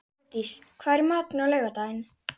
Heiðdís, hvað er í matinn á laugardaginn?